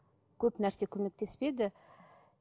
көп нәрсе көмектеспеді